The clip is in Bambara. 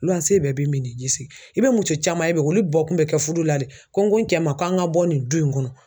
Luwanze bɛɛ bi minnin ji sigi, i bɛ muso caman ye bi olu bɔ kun bɛ kɛ fudu la de ko n ko n cɛ ma k'an ka bɔ nin du in kɔnɔ